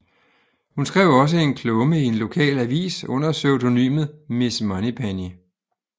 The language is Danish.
Hun skrev også en klumme i en lokal avis under pseudonymet Miss Moneypenny